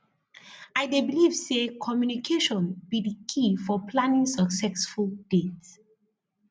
i dey believe say communication be di key for planning successful dates